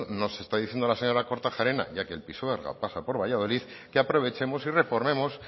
nos está diciendo la señora kortajarena ya que el pisuerga pasa por valladolid que aprovechemos y